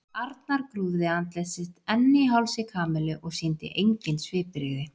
Arnar grúfði andlit sitt enn í hálsi Kamillu og sýndi engin svipbrigði.